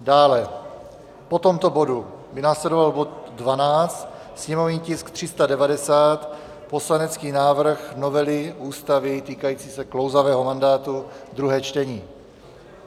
Dále po tomto bodu by následoval bod 12, sněmovní tisk 390, poslanecký návrh novely ústavy týkající se klouzavého mandátu, druhé čtení.